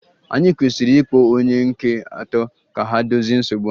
Ànyị kwesịrị ịkpọ onye nke atọ ka ha dozie nsogbu a?